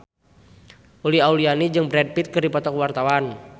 Uli Auliani jeung Brad Pitt keur dipoto ku wartawan